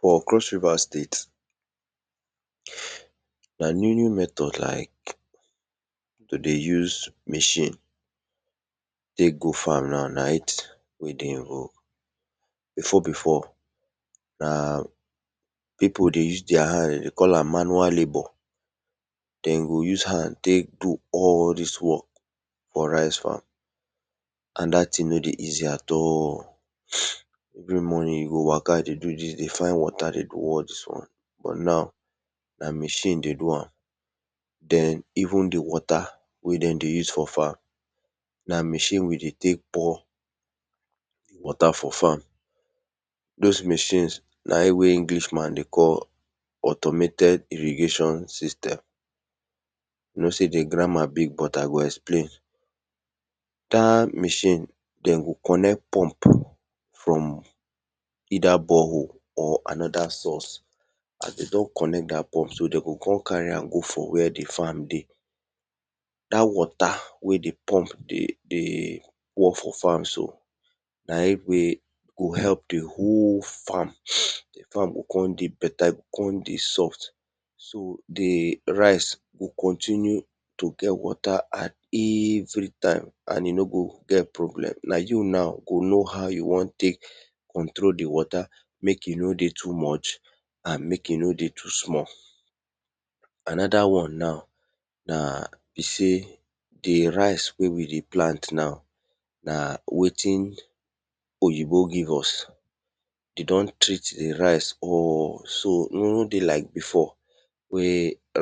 For cross river state na new new method like to dey use machine tek go farm na. before before, pip dey use their hadn de call am manual labour den go use their hand tek do all dis work for rice farm and dat thing no dey easy at all every morning you go waka dey do dis dey find watr dey do all dis won but now, na machine dey do am. Den even di water wey den dey use for farm, na machine we dey use pour di water for farm. Tjhose machine na in English man ey call automated irrigation syste. E know sey di grammar big but I go explain. Dat machine den go connect pump from either borehole or anoda source as den don connect dat pump so de go kon carry am connect where di farm de dat water we dey connect for farm so, na in go help di whole farm, di farm go kon dey beta e go kon dey soft. So di rice go continue to get water at its very time and e no go gt problem, na you now go know how you won teek control di water mek e no dey too much and mek e no dey too small. Anoda wan na sey di rice wey we dey plant na, na wetin oyibo give us, de don threat di rice so e no dey like before wey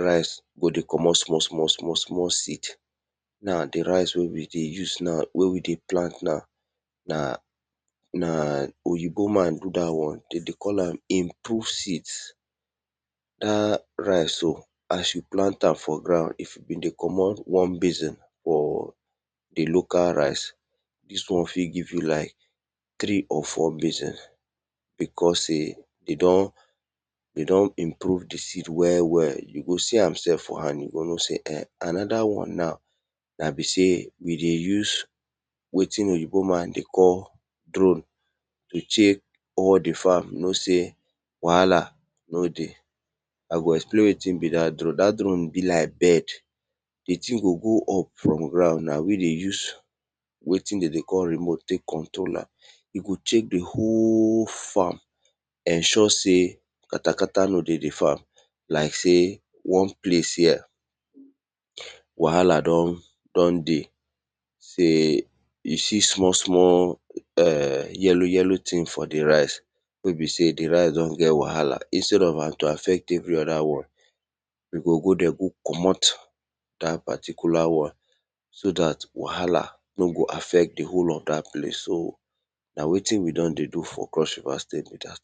rice go dey commot small small small small seed, now di rice wey we dey plant na, na oyibo man do dat won, de dey call am improve seed, as you plent am for ground if you dey commot one basin grom di local rice, dis won fit give you like three or four basin because de don improve di seed you go see am sef. Anoda wan na be sey we dey use wetin oyibo man dey call drone, I go explain wetin be dat drone dat drone be like bird di thing go go up from ground na we dey use wetin de dey call remote tek control am, e go chek di whole farm ensure sey katakata no dey di farm like sey wan place wahala don dey sey you swe small small yellow yellow thing for di rice wen be sey di rice don get wahala instad of am to affect every other won, you go go ther go commot that particular won so dat wahala no go affect di whole of dat place so na wetin we don dey do for cross river state be dat.